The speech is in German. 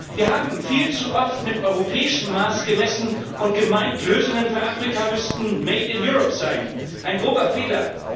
Wir haben viel zu oft mit europäischem Maß gemessen und gemeint, Lösungen für Afrika müssten made in Europe sein ein grober Fehler.